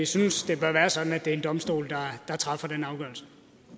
synes det bør være sådan at det er en domstol der træffer den afgørelse